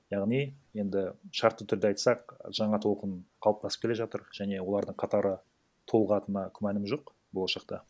яғни енді шартты түрде айтсақ жаңа толқын қалыптасып келе жатыр және олардың қатары толығатынына күмәнім жоқ болашақта